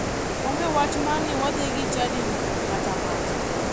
Onge wach mar ni wadhi gi chadi ni kata macha.